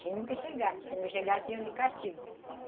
Tinha que chegar, porque se não chegassem, iam de castigo.